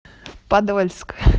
подольск